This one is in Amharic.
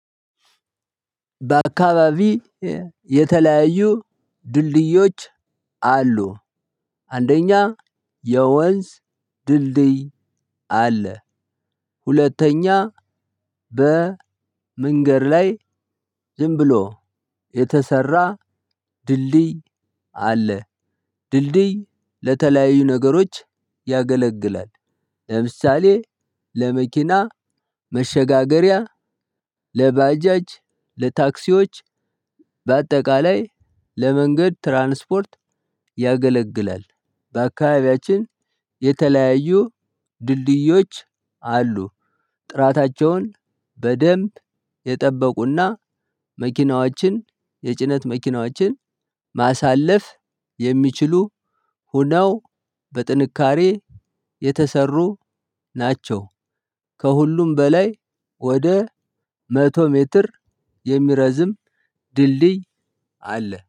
በአካባቢ የተለያዩ ድልድዮች አሉ። አንደኛ የወንዝ ድልድይ አለ። ሁለተኛ በ መንገድ ላይ ዝም ብሎ የተሰራ ድልድይ አለ። ድልድይ ለተለያዩ ነገሮች ያገለግላል። ለምሳሌ ለመኪና መሸጋገሪያ ለባጃጅ ለታክሲዎች በአጠቃላይ ለመንገድ ትራንስፖርት ያገለግላል። በአካባቢያችን የተለያዩ ድልድዮች አሉ። ጥራታቸውን በደንብ የጠበቁና መኪናዎችን የጭነት መኪናዎችን ማሳለፍ የሚችሉ ሁነው በጥንካሬ የተሰሩ ናቸው። ከሁሉም በላይ ወደ መቶ ሜትር የሚረዝም ድልድይ አለ